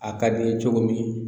A ka di n ye cogo min